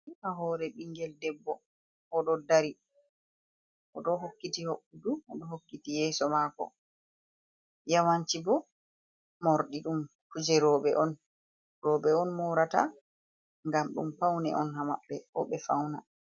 Nda hore ɓingel debbo oɗo dari oɗo hokkiti hoɓɓudu odo hokkiti yeso mako. Yawanshi bo morɗi ɗum kuje roɓe on roɓe on morata ngam ɗum paune on ha maɓɓe ɓe fauna.